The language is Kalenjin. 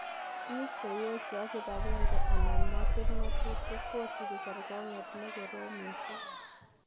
Biik cheyesyo kibagenge anan mosiib ngotutik kosibi kergong'et nekoroom mising'.